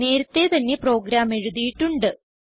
നേരത്തെ തന്നെ പ്രോഗ്രാം എഴുതിയിട്ടുണ്ട്